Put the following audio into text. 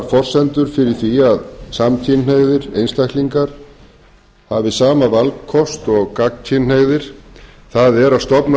forsendur fyrir því að samkynhneigðir einstaklingar hafi sama valkost og gagnkynhneigðir það er að